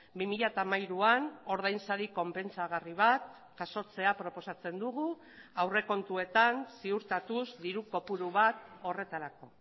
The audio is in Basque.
bi mila hamairuan ordainsari konpentsagarri bat jasotzea proposatzen dugu aurrekontuetan ziurtatuz diru kopuru bat horretarako